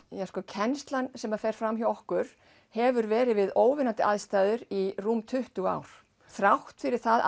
kennslan sem fer fram hjá okkur hefur verið við óviðunandi aðstæður í rúm tuttugu ár þrátt fyrir það